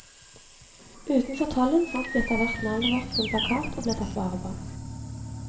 Utenfor tollen fant vi etterhvert navnet vårt på en plakat og ble tatt vare på.